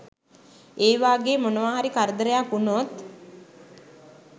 ඒ වාගේ මොනවාහරි කරදරයක් වුණොත්